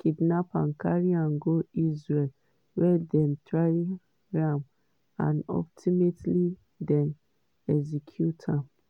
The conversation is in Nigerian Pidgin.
kidnap am carry am go israel wia dem try am and ultimately dem execute am.